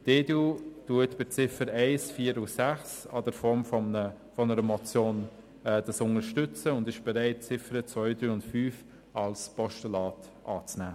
Die EDU unterstützt die Ziffern 1, 4 und 6 in der Form einer Motion, und sie ist bereit, die Ziffern 2, 3 und 5 als Postulat anzunehmen.